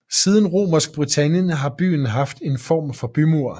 Siden Romersk Britannien har byen haft en form for bymur